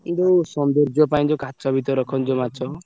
ଏ ଯୋଉ ସୌନ୍ଦର୍ଯ୍ୟ ପାଇଁ ଯୋଉ କାଚ ଭିତରେ ରଖନ୍ତି ଯୋଉ ମାଛ।